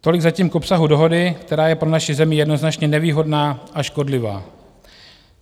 Tolik zatím k obsahu dohody, která je pro naši zemi jednoznačně nevýhodná a škodlivá.